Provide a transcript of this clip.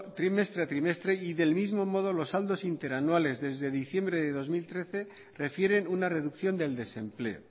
trimestre a trimestre y del mismo modo los saldos interanuales desde diciembre de dos mil trece refieren una reducción del desempleo